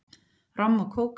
Romm og kók